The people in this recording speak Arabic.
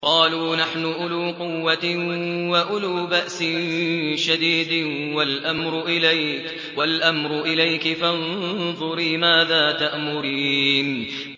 قَالُوا نَحْنُ أُولُو قُوَّةٍ وَأُولُو بَأْسٍ شَدِيدٍ وَالْأَمْرُ إِلَيْكِ فَانظُرِي مَاذَا تَأْمُرِينَ